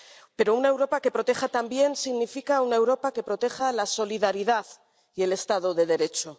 Pero una Europa que proteja también significa una Europa que proteja la solidaridad y el Estado de Derecho.